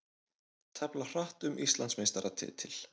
Tefla hratt um Íslandsmeistaratitil